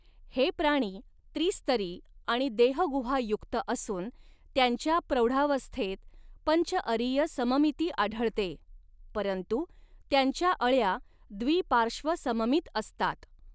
हे प्राणी त्रिस्तरी आणि देहगुहायुक्त असून त्यांच्या प्रौढावस्थेत पंचअरिय सममिती आढळते परंतु त्यांच्या अळया द्विपार्श्वसममित असतात.